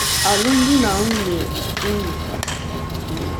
alụmdi na nwunye um unu?